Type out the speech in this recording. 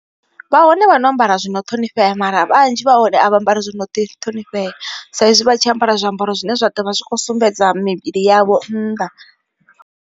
Vha hone vha no ambara zwino ṱhonifhea mara vhanzhi vha hone a vha ambari zwo no ḓi ṱhonifhea, saizwi vha tshi ambara zwiambaro zwine zwa ḓovha zwi kho sumbedza mivhili yavho nnḓa.